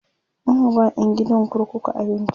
ana ba ƴan gidan kurkuku abinci